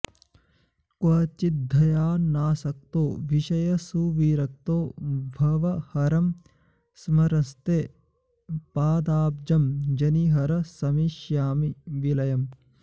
क्वचिद्ध्यानासक्तो विषयसुविरक्तो भवहरं स्मरँस्ते पादाब्जं जनिहर समेष्यामि विलयम्